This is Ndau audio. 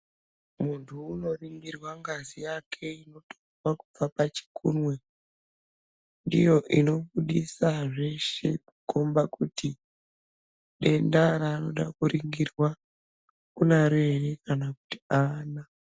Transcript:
Muntu unoringirwa ngazi yake inotorwa kubva pachikunwe. Ndiyo inobudisa zveshe kukomba kuti denda raanoda kuringirwa unaro ere kana kuti aana.